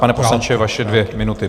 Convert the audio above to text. Pane poslanče, vaše dvě minuty.